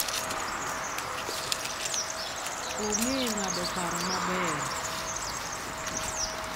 Ong'e ng'ado paro maber.